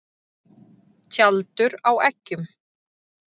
Tjaldur á eggjum.